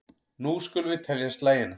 Nú skulum við telja slagina.